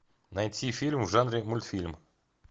найти фильм в жанре мультфильм